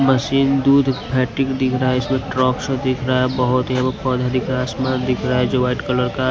machine दूध factory दिख रहा है इसमें ट्रक शो दिख रहा है बहुत यहाँ पे पौधा दिख रहा है आसमान दिख रहा हैं जो वाइट कलर का --